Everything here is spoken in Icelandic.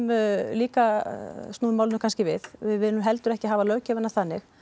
líka snúið málinu kannski við við viljum heldur ekki hafa löggjöfina þannig